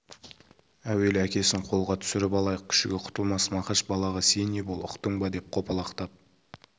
әуелі әкесін қолға түсіріп алайық күшігі құтылмас мақаш балаға сен ие бол ұқтың ба деп қопалақтап